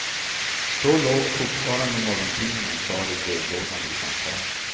Då låg fortfarande morgontidningen kvar i brevlådan utanför.